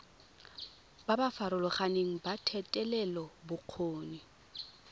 ba ba farologaneng ba thetelelobokgoni